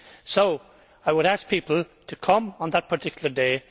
So I would ask people to come on that particular day.